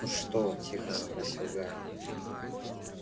ну что тихо спросил гарри